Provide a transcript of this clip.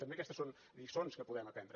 també aquestes són lliçons que podem aprendre